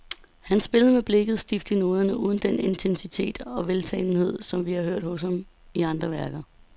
Han spillede med blikket stift i noderne, uden den intensitet og veltalenhed, som vi har hørt hos ham i andre værker.